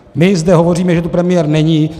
My zde hovoříme, že tu premiér není.